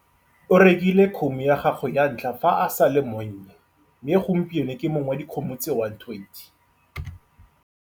O rekile kgomo ya gagwe ya ntlha fa a sa le monnye mme gompieno ke mong wa dikgomo tse 120.